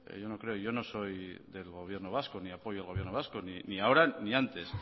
yo no creo yo no soy del gobierno vasco ni apoyo al gobierno vasco ni ahora ni antes